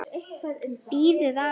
Bíðið aðeins!